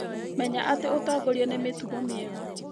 Menya atĩ ũtongoria nĩ mitugo mĩega